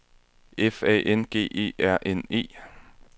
F A N G E R N E